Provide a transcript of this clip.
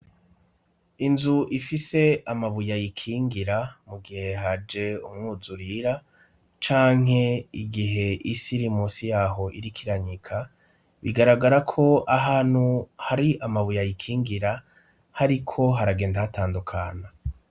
Inzu ifise amabuye yikingira mu gihe haje umwuzu rira canke igihe isi iri musi yaho irikiranyika bigaragara ko ahanu hari amabuya yikingira hari ko haragenda hatandukana.